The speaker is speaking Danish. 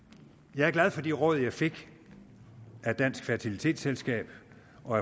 jeg er glad for de råd jeg fik af dansk fertilitetsselskab og